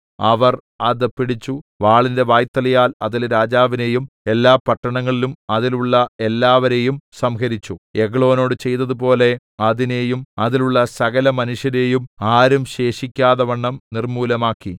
അവർ അത് പിടിച്ച് വാളിന്റെ വായ്ത്തലയാൽ അതിലെ രാജാവിനെയും എല്ലാ പട്ടണങ്ങളും അതിലുള്ള എല്ലാവരെയും സംഹരിച്ചു എഗ്ലോനോട് ചെയ്തതുപോലെ അതിനെയും അതിലുള്ള സകലമനുഷ്യരെയും ആരും ശേഷിക്കാതവണ്ണം നിർമ്മൂലമാക്കി